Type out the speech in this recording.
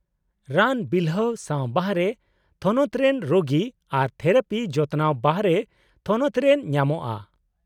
-ᱨᱟᱱ ᱵᱤᱞᱦᱟᱹᱣ ᱥᱟᱶ ᱵᱟᱨᱦᱮ ᱛᱷᱚᱱᱚᱛ ᱨᱮᱱ ᱨᱳᱜᱤ ᱟᱨ ᱛᱷᱮᱨᱟᱯᱤ ᱡᱚᱛᱚᱱᱟᱣ ᱵᱟᱨᱦᱮ ᱛᱷᱚᱱᱚᱛᱨᱮ ᱧᱟᱢᱚᱜᱼᱟ?